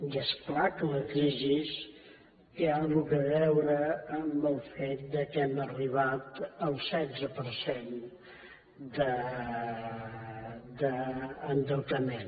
i és clar que la crisi té alguna cosa a veure amb el fet que hàgim arribat al setze per cent d’endeutament